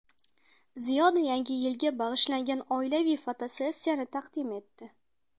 Ziyoda Yangi yilga bag‘ishlangan oilaviy fotosessiyani taqdim etdi.